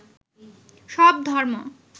সব ধর্ম